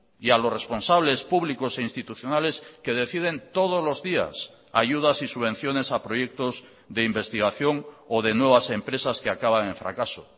y a los responsables públicos e institucionales que deciden todos los días ayudas y subvenciones a proyectos de investigación o de nuevas empresas que acaban en fracaso